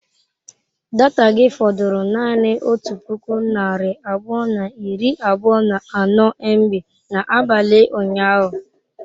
Data gị fọdụrụ naanị otu puku narị abụọ na iri abụọ na anọ mb n'abalị ụnyaahụ?